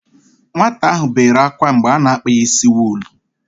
Nwata ahụ bere ákwá mgbe a na-akpa ya ísí wuull.